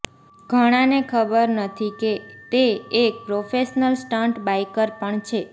ઘણાને ખબર નથી કે તે એક પ્રોફેશનલ સ્ટંટ બાઇકર પણ છે